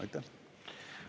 Aitäh!